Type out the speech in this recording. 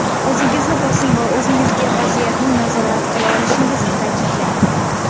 O‘zingizni bosing va o‘zingizga vaziyatni nazorat qila olishingizni ta’kidlang.